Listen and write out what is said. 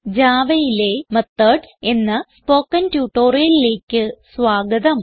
Javaയിലെ മെത്തോഡ്സ് എന്ന സ്പോകെൻ ട്യൂട്ടോറിയലിലേക്ക് സ്വാഗതം